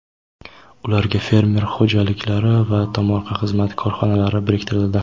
ularga fermer xo‘jaliklari va tomorqa xizmati korxonalari biriktirildi.